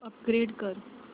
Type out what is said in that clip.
upgrade कर